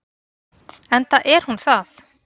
Enda er hún það.